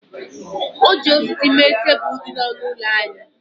E ji osisi mee tebụl dị n'ọnụ ụlọ anyị